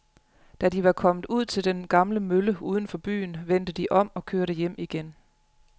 Da de var kommet ud til den gamle mølle uden for byen, vendte de om og kørte hjem igen.